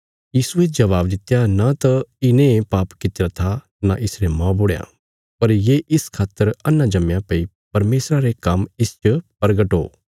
यीशुये जबाब दित्या न त इने पाप कित्तिरा था न इसरे मौबुढ़यां पर ये इस खातर अन्हा जम्मया भई परमेशरा रे काम्म इसच परगट हो